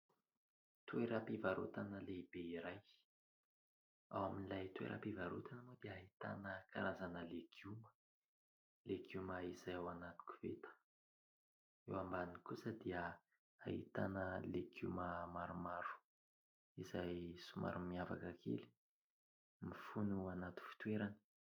Toeram-pivarotana lehibe iray, ao amin'ilay toeram-pivarotana moa dia ahitana karazana legioma, legioma izay ao anaty koveta, eo ambany kosa dia ahitana legioma maromaro izay somary miavaka kely, mifono ao anaty fitoerany.